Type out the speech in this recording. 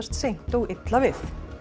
seint og illa við